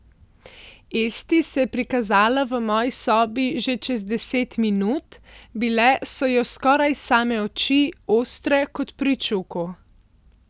Esti se je prikazala v moji sobi že čez deset minut, bile so jo skoraj same oči, ostre kot pri čuku.